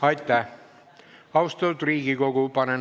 Aitäh!